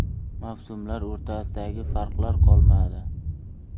Mavsumlar o‘rtasidagi farqlar qolmadi.